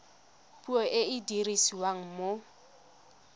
puo e e dirisiwang mo